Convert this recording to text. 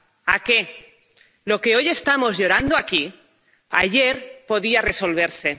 ¿A qué? Lo que hoy estamos llorando aquí ayer podía resolverse.